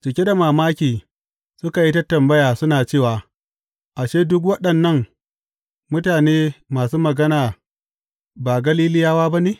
Cike da mamaki, suka yi tambaya suna cewa, Ashe, duk waɗannan mutane masu magana ba Galiliyawa ba ne?